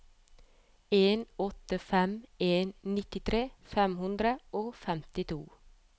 en åtte fem en nittitre fem hundre og femtito